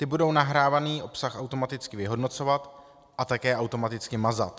Ty budou nahrávaný obsah automaticky vyhodnocovat a také automaticky mazat.